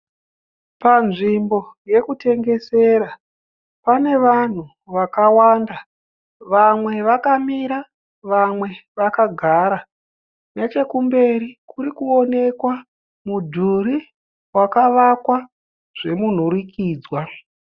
Panzvimbo yokutengesera pane vanhu vakawanda. Vamwe vakamira vamwe vakagara. Nechemberi kuri kuonekwa mudhuri wakavakwa zvemunhurikidzwa.